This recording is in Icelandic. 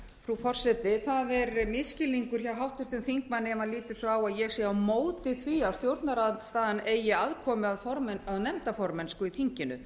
frú forseti það er misskilningur hjá háttvirtum þingmanni ef hann lítur svo á að ég sé á móti því að stjórnarandstaðan eigi aðkomu að nefndaformennsku í þinginu